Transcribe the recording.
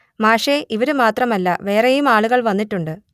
മാഷെ ഇവര് മാത്രമല്ല വേറെയും ആളുകൾ വന്നിട്ടുണ്ട്